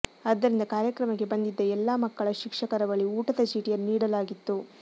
ಆದ್ದರಿಂದ ಕಾರ್ಯಕ್ರಮಕ್ಕೆ ಬಂದಿದ್ದ ಎಲ್ಲಾ ಮಕ್ಕಳ ಶಿಕ್ಷಕರ ಬಳಿ ಊಟದ ಚೀಟಿಯನ್ನು ನೀಡಲಾಗಿತ್ತು